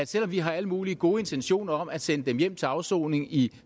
selv om vi har alle mulige gode intentioner om at sende dem hjem til afsoning i